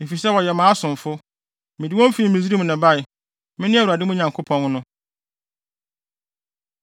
efisɛ wɔyɛ mʼasomfo. Mede wɔn fi Misraim na ɛbae. Mene Awurade mo Nyankopɔn no.